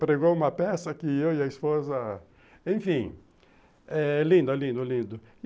Pregou uma peça que eu e a esposa... Enfim, é lindo, lindo, lindo.